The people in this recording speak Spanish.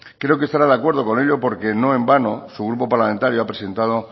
creo que estará de acuerdo con ello porque no en vano su grupo parlamentario ha presentado